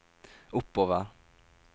oppover